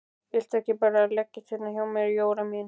Viltu ekki bara leggjast hérna hjá mér Jóra mín.